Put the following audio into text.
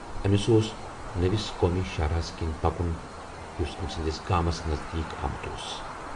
أمِس اوس نٔوِس قومی شاہراہس کِنۍ پَکُن یُس أمۍ سٕنٛدِس گامس نزدیٖک آمُت اوس۔